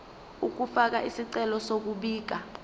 ukufaka isicelo sokubika